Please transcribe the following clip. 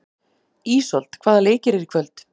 Ísold, hvaða leikir eru í kvöld?